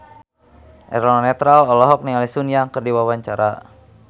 Eno Netral olohok ningali Sun Yang keur diwawancara